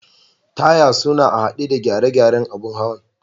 Taya suna a'hade da gare garen abun hawan.